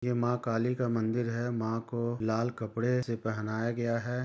यह माँ काली का मंदिर है माँ को लाल कपड़े से पहनाया गया है।